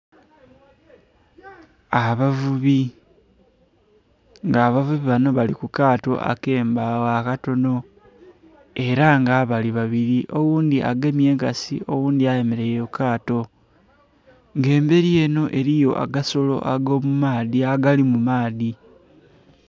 Abavubi nga abavubi bano bali kukaato akembagho akatono era nga bali babiri oghundhi agemye enkasi oghundhi ayemeraire kukaato nga emberi eno eriyo agasolo ago mumaadhi agali mumaadhi.